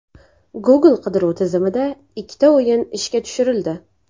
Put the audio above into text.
Google qidiruv tizimida ikkita o‘yin ishga tushirildi.